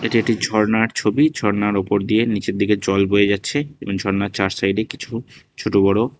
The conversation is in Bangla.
এটি একটি ঝরনার ছবি ঝরনা উপর দিয়ে নিচের দিকে জল বয়ে যাচ্ছে এবং ঝর্ণার চার সাইডে কিছু ছোট বড়--